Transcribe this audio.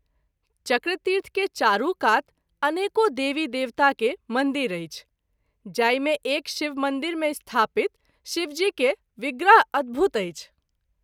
चक्रतीर्थ के चारू कात अनेको देवी देवता के मंदिर अछि, जाहि मे एक शिव मंदिर मे स्थापित शिव जी के विग्रह अद्भुत अछि।